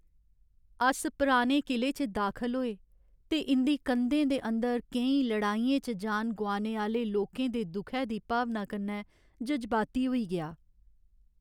अस पुराने किले च दाखल होए ते इं'दी कंधें दे अंदर केईं लड़ाइयें च जान गोआनै आह्‌ले लोकें दे दुखै दी भावना कन्नै जज्बाती होई गेआ।